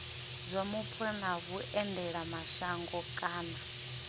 zwa mupo na vhuendelamashango kana